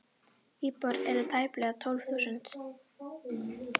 Íbúar eru tæplega tólf þúsund.